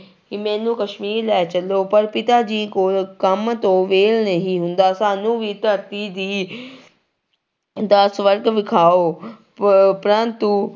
ਕਿ ਮੈਨੂੰ ਕਸ਼ਮੀਰ ਲੈ ਚੱਲੋ ਪਰ ਪਿਤਾ ਜੀ ਕੋਲ ਕੰਮ ਤੋਂ ਵਿਹਲ ਨਹੀਂ ਹੁੰਦਾ, ਸਾਨੂੰ ਵੀ ਧਰਤੀ ਦੀ ਦਾ ਸਵਰਗ ਵਿਖਾਓ ਪ ਪ੍ਰੰਤੂ